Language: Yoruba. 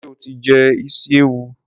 Ṣé o ti jẹ isi ewu?